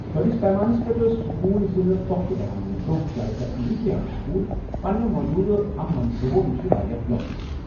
بٔڑِس پیمانَس پٮ۪ٹھ ٲسۍ سکول ضِلعہٕ پختہٕ بناونہٕ برونٛہہ، زیٛادٕ تر امریکی ہایی سکول پنٛنٮ۪و موٗجوٗدٕ ہم منصوٗبو نِش واریاہ لۄکٕٹۍ۔